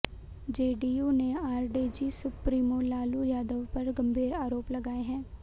JDU ने RJD supremo Lalu Yadav पर गंभीर आरोप लगाए हैं